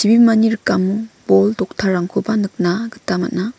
rikamo bol toktarangkoba nikna gita man·a.